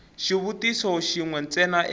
xivutiso xin we ntsena eka